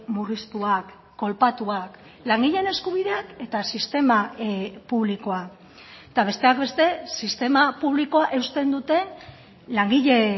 murriztuak kolpatuak langileen eskubideak eta sistema publikoa eta besteak beste sistema publikoa eusten duten langile